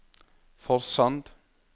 Forsand